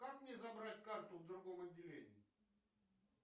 как мне забрать карту в другом отделении